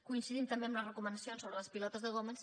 coincidim també amb les recomanacions sobre les pilotes de goma